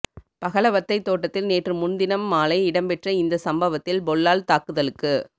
பகலவத்தை தோட்டத்தில் நேற்று முன்தினம் மாலை இடம்பெற்ற இந்த சம்பவத்தில் பொல்லால் தாக்குதலுக்கு